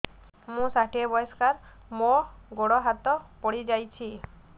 ମୁଁ ଷାଠିଏ ବୟସ୍କା ମୋର ଗୋଡ ହାତ ପଡିଯାଇଛି